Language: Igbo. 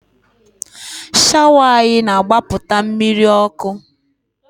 Shawa anyị na-agbapụta mmiri ọkụ